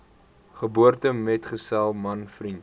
geboortemetgesel man vriend